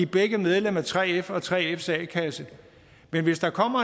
begge medlemmer af 3f og 3fs a kasse men hvis der kommer